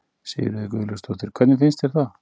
Sigríður Guðlaugsdóttir: Hvernig finnst þér það?